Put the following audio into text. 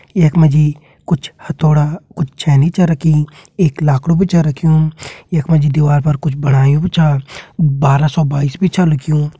यख मा जी कुछ हथौड़ा कुछ छेनी छ रखीं एक लाखड़ु भी छ रख्युं यख मा जी दीवाल पर कुछ बणायु भी छ बारह सो बाईस भी छ लिख्युं।